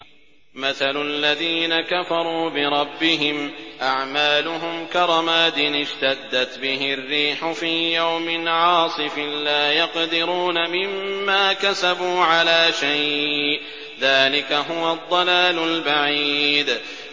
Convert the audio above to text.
مَّثَلُ الَّذِينَ كَفَرُوا بِرَبِّهِمْ ۖ أَعْمَالُهُمْ كَرَمَادٍ اشْتَدَّتْ بِهِ الرِّيحُ فِي يَوْمٍ عَاصِفٍ ۖ لَّا يَقْدِرُونَ مِمَّا كَسَبُوا عَلَىٰ شَيْءٍ ۚ ذَٰلِكَ هُوَ الضَّلَالُ الْبَعِيدُ